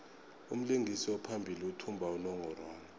umlingisi ophambili uthumba unongorwand